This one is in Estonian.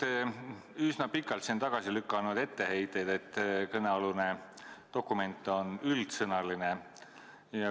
Te olete üsna pikalt siin tagasi lükanud etteheiteid, et kõnealune dokument on üldsõnaline.